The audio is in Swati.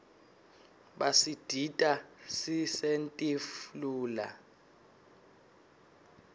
basidita sisentif lula